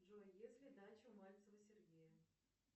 джой есть ли дача у мальцева сергея